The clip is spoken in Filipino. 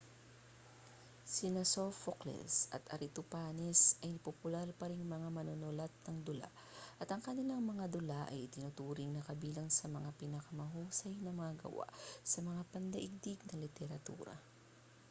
sina sophocles at aristophanes ay popular pa ring mga manunulat ng dula at ang kanilang mga dula ay itinuturing na kabilang sa mga pinakamahusay na mga gawa sa pandaigdig na literatura